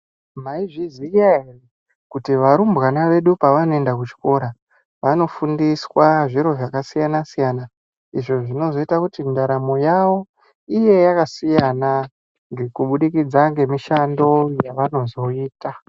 Maizviziva ere kuti varumbwana vedu pavanozoenda kuchikora vanofundiswa zviro zvakasiyana siyana izvo zvinozoita kuti ndaramo yawo iye yakasiyana kubudikidza nemishando yavanoda kuzoita.